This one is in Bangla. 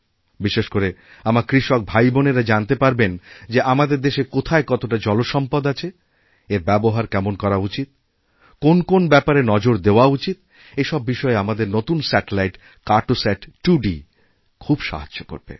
বিশেষ করে আমার কৃষক ভাই বোনেরা জানতে পারবেন যে আমাদের দেশে কোথায় কতটা জলসম্পদআছে এর ব্যবহার কেমনভাবে করা উচিত কোন কোন ব্যাপারে নজর দেওয়া উচিত এই সব বিষয়ে আমাদের নতুনস্যাটেলাইট কার্টোসাট 2D খুব সাহায্য করবে